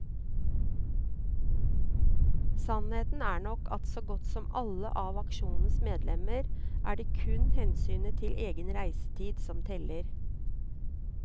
Sannheten er nok at for så godt som alle av aksjonens medlemmer er det kun hensynet til egen reisetid som teller.